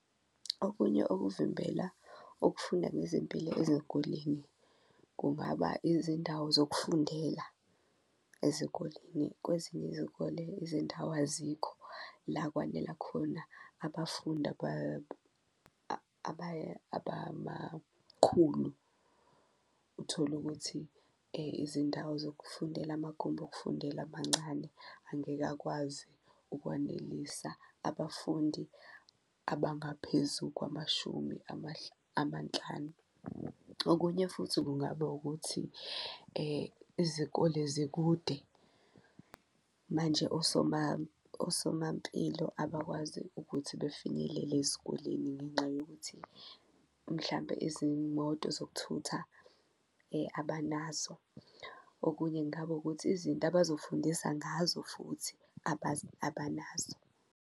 Okunye okuvimbela ukufunda ngezempilo ezikoleni kungaba izindawo zokufundela ezikoleni. Kwezinye izikole izindawo azikho la kwanela khona abafundi abamakhulu, uthole ukuthi izindawo zokufundela amagumbi okufundela mancane angeke akwazi ukwanelisa abafundi abangaphezu kwamashumi amanhlanu. Okunye futhi kungaba ukuthi izikole zikude manje osomampilo abakwazi ukuthi befinyelele ezikoleni ngenxa yokuthi mhlampe izimoto zokuthutha abanazo, okunye kungaba ukuthi izinto abazofundisa ngazo futhi abanazo.